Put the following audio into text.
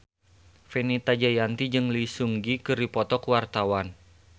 Fenita Jayanti jeung Lee Seung Gi keur dipoto ku wartawan